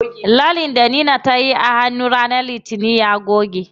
Lallen da Leena tayi a hannu ranar litinin da ta wuce ya goge.